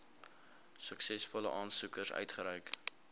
suksesvolle aansoekers uitgereik